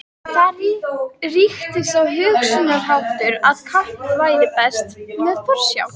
Þar ríkti sá hugsunarháttur, að kapp væri best með forsjá.